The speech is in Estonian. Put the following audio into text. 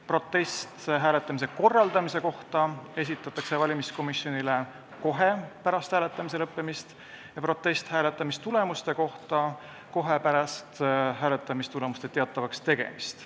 Protest hääletamise korraldamise kohta esitatakse valimiskomisjonile kohe pärast hääletamise lõppemist ja protest hääletamistulemuste kohta kohe pärast hääletamistulemuste teatavaks tegemist.